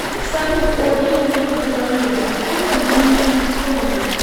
салют о рио рио де жанейро а какую там деньгу используют